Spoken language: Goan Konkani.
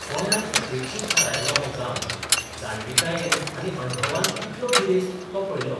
गोंयान 'उपेक्षीत 'धारायल्लो हो गांव जाणविकायेन आनी अणभवान कितलो गिरेस्त तो पळयलो.